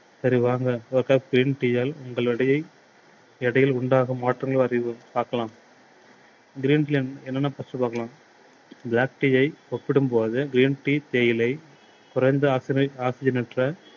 சரி வாங்க. green tea யால் உங்கள் எடையை எடையில் உண்டாகும் மாற்றங்கள் பார்க்கலாம். green tea ல என்னென்ன first பார்க்கலாம். black tea யை ஒப்பிடும் போது green tea தேயிலை குறைந்த oxident~oxident டுல